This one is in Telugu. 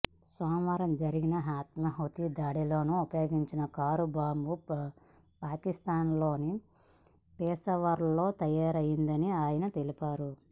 సోమవారం జరిగిన ఆత్మాహుతి దాడిలో ఉపయోగించిన కారు బాంబు పాకిస్థాన్లోని పెషావర్లో తయారైందని ఆయన తెలిపారు